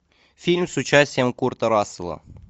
фильм с участием курта рассела